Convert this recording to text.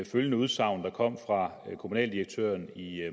følgende udsagn der kom fra kommunaldirektøren i